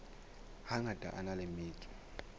hangata a na le metso